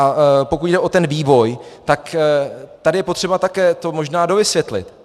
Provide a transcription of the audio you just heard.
A pokud jde o ten vývoj, tak tady je potřeba také to možná dovysvětlit.